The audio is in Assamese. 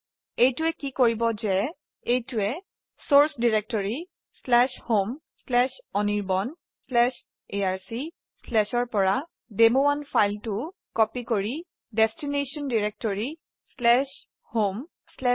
এইটৱে কি কৰিব যে চৰ্চ ডাইৰেক্টৰী homeanirbanarc পৰা ফাইল demo1 ক কপি কৰি গন্তব্য ডিৰেকটৰি অৰ্থাৎ homeanirban ত কপি কৰে